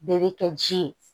Bɛɛ bɛ kɛ ji ye